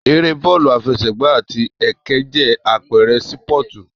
Ère Bọ́ọ̀lù àfẹsẹ̀gba àti ẹkẹ jẹ́ àpẹrẹ sípọ̀tù